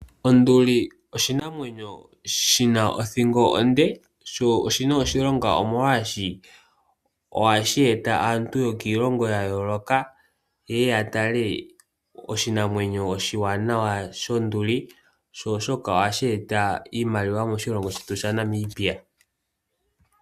Onduli oshinamwenyo shi na othingo onde . Sho oshi na oshilonga molwaashoka ohashi e ta aantu yokiilongo yayooloka, yeye ya tale oshinamwenyo oshiwanawa shonduli. Ohashi vulu woo okweeta iimaliwa moshilongo shaNamibia.